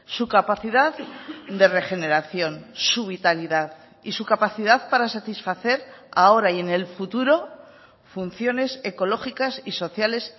su capacidad de regeneración su vitalidad y su capacidad para satisfacer ahora y en el futuro funciones ecológicas y sociales